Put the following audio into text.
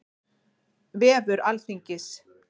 Vefur Alþingis.